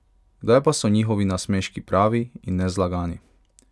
Kdaj pa so njihovi nasmeški pravi in nezlagani?